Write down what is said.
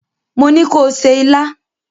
Mo ní ko se ilá!